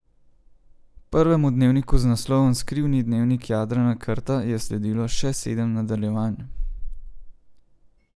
Prvemu dnevniku z naslovom Skrivni dnevnik Jadrana Krta je sledilo še sedem nadaljevanj.